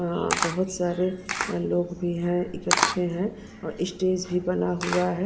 अ बहुत सारे लोग भी हैं इकट्ठे हैं और स्टेज भी बना हुआ है।